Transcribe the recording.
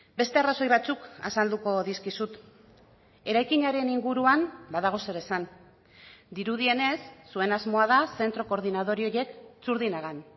beste arrazoi batzuk azalduko dizkizut eraikinaren inguruan badago zer esan dirudienez zuen asmoa da zentro koordinadore horiek txurdinagan